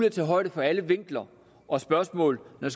at tage højde for alle vinkler og spørgsmål når